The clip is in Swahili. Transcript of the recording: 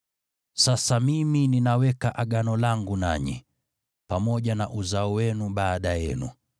“Sasa mimi ninaweka Agano langu nanyi, pamoja na uzao wenu baada yenu,